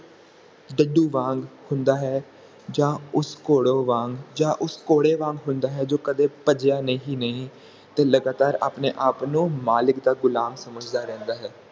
ਡੱਡੂ ਵਾਂਗ ਹੁੰਦਾ ਹੈ ਜਾ ਉਸ ਘੋੜੇ ਵਾਂਗ ਉਸ ਘੋੜੇ ਵਾਂਗ ਹੁੰਦਾ ਹੈ ਜੋ ਕਦੇ ਭੱਜਿਆ ਹੀ ਨਹੀਂ ਤੇ ਲਗਾਤਾਰ ਆਪਣੇ ਆਪ ਨੂੰ ਮਾਲਿਕ ਦਾ ਗੁਲਾਮ ਸਮਝਦਾ ਰਹਿੰਦਾ ਹੈ